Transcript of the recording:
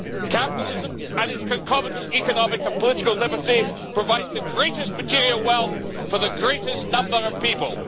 Capitalism and its concomitant economic and political liberty provides the greatest material wealth for the greatest number of people.